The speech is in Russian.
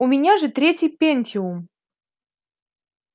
у меня же третий пентиум